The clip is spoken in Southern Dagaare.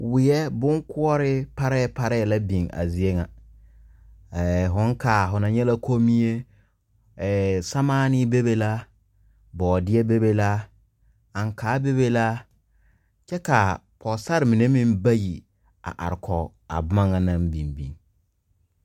Wie boŋ kuure parɛ parɛ la biŋ a zie ŋa. Ɛɛ foŋ kaa, fo na nye la komie, ɛɛ samaane bebe la, boodiɛ bebe la, ankaa bebe la. Kyɛ ka a pogesare mene meŋ bayi a are kɔge a boma naŋ biŋ biŋ